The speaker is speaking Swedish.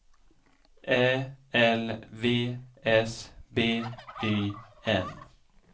Ä L V S B Y N